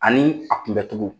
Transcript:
Ani a kunbɛ cogo.